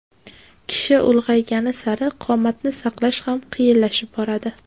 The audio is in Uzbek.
Kishi ulg‘aygani sari qomatni saqlash ham qiyinlashib boradi.